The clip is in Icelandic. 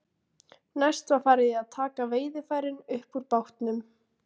Næst var farið í að taka veiðarfærin upp úr bátnum.